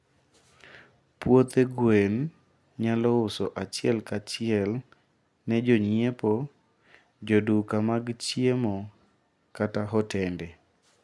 puothe gwen nyalouso achiel ka achiel ne jonyiepo, joduka mag chiemo kata hotende